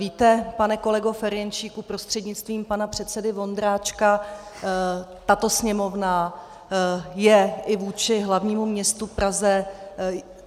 Víte, pane kolego Ferjenčíku prostřednictvím pana předsedy Vondráčka, tato Sněmovna je i vůči hlavnímu městu Praze...